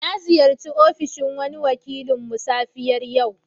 Na ziyarce ofishin wani wakilinmu safiyar yau.